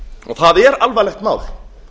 það er alvarlegt mál